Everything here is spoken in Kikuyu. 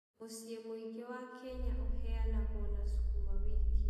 Mũciĩ mũingĩ wa Kenya ũheanagwo na sukuma wiki.